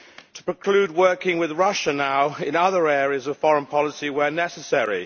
to preclude working with Russia now in other areas of foreign policy where necessary.